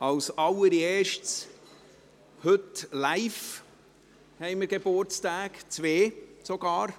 Als Allererstes: Heute haben wir live Geburtstage, zwei sogar.